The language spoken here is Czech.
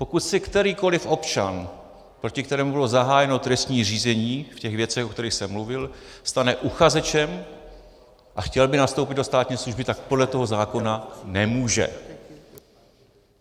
Pokud se kterýkoli občan, proti kterému bylo zahájeno trestní řízení v těch věcech, o kterých jsem mluvil, stane uchazečem a chtěl by nastoupit do státní služby, tak podle toho zákona nemůže.